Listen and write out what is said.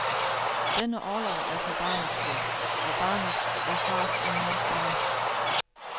Denne orlov er for barnets skyld, og barnet er fars og mors barn.